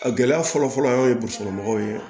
A gɛlɛya fɔlɔfɔlɔ an ye burusikɔnɔmɔgɔw ye